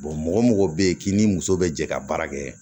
mɔgɔ o mɔgɔ bɛ yen k'i ni muso bɛ jɛ ka baara kɛ